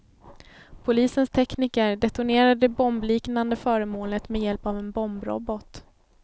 Polisens tekniker detonerade det bombliknande föremålet med hjälp av en bombrobot.